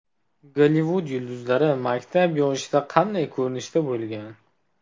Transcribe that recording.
Gollivud yulduzlari maktab yoshida qanday ko‘rinishda bo‘lgan?